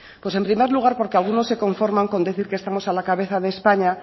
pues en primer lugar porque algunos se conforman con decir que estamos a la cabeza de españa